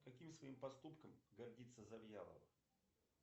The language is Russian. каким своим поступком гордится завьялова